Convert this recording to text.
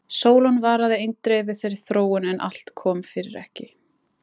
Sólon varaði eindregið við þeirri þróun en allt kom fyrir ekki.